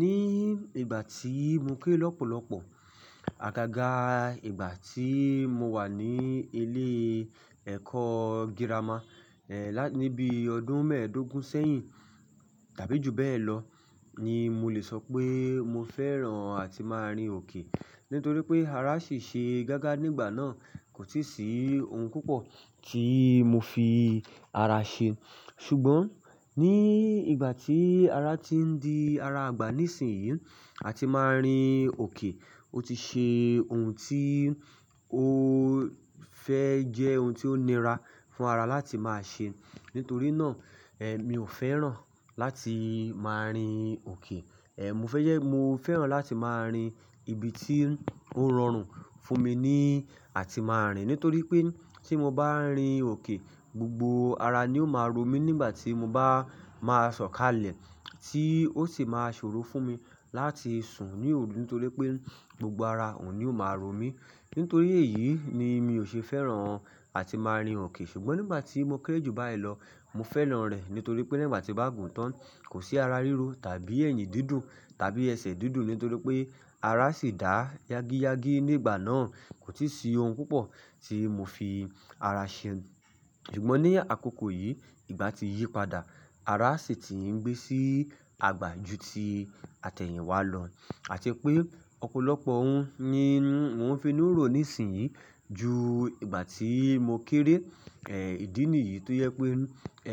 Ní ìgbà tí mo kéré lọ́pọ̀lọ́pọ̀, àgágá ìgbà tí mo wà ní ilé ẹ̀kọ́ girama, ẹ́, níbi ọdún mẹ́ẹ̀dógún sẹ́yìn tàbí ju bẹ́ẹ̀ lọ ni mo lè sọ pé mo fẹ́ràn àti máa rin òkè. Nítorí pé ara ṣì ṣe gágá nígbà náà, kò sì sí oun púpọ̀ tí mo fi ara ṣe. Ṣùgbọ́n ní ìgbà tí ara ti ń di ara àgbà ní ìsìnyí àti máa rin òkè, ó ti ṣe oun tí ó fẹ́ jẹ́ oun tí ó nira fún ara láti máa ṣe. Nítorí náà, ẹ́, mi ò fẹ́ràn láti máa rin òkè. Ẹ̀, mo fẹ́ jẹ́ mo fẹ́ràn láti máa rin ibi tí ó rọrùn fún mi ní àti máa rìn. Nítorí pé tí mo bá rin òkè, gbogbo ara ni ó máa ro mí nígbà tí mo bá máa sọ̀kalẹ̀ tí ó sì máa ṣòro fún mi láti sùn ní òru. Nítorí pé gbogbo ara òun ni ó máa ro mí. Nítorí èyí ni mi ò ṣe fẹ́ràn àti máa rin òkè. Ṣùgbọ́n nígbà tí mo kéré jù báyìí lọ, mo fẹ́ràn rẹ̀. Nítorí pé nígbà tí bá gùn tán, kò sí ara ríro tàbí ẹ̀yìn didún tàbí ẹsẹ̀ didún. Nítorí pé ara ṣì dá yágíyágí nígbà náà, kò ti sí oun púpọ̀ tí mo fi ara ṣe. Ṣùgbọ́n ní àkókò yìí, ìgbà ti yí padà, ara ṣì ti ń gbé sí àgbà ju tí atẹ̀yìn wá lọ. Àti pé ọ̀pọ̀lọpọ̀ oun ni wọ́n fi ń ro ní ìsìnyí ju ìgbà tí mo kéré. Ẹ̀, ìdí nìyí tó yẹ pé,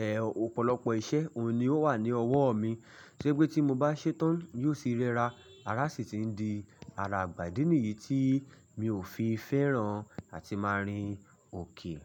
ẹ́, ọ̀pọ̀lọpọ̀ iṣẹ́ òun ni ó wà ní ọwọ́ mi. Sé pé tí mo bá ṣetán, yóò sì rẹra. Ara ṣì ti ń di ara àgbà. Ìdí nìyí tí mi ò fi fẹ́ràn àti máa rin òkè.